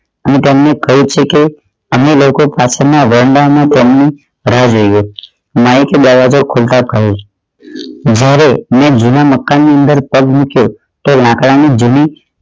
અને તેમણે કહે છે કે અમે લોકો પાછળ ના જઈ રહ્યા માઇક એ બરાબર જુના મકાન ની અંદર પગ મૂક્યો તો લાકડા ની જમીન